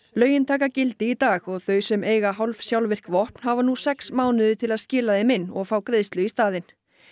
lögin taka gildi í dag og þau sem eiga hálfsjálfvirk vopn hafa nú sex mánuði til að skila þeim til inn og fá greiðslu í staðinn